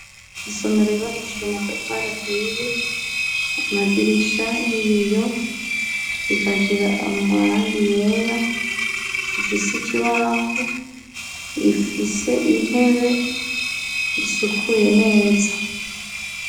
Isomero yubakishijwe amatafari ahiye, amadirisha y'ibiyo; ikagira amarangi yera. Ifise ikibaho, ifise intebe isukuye neza.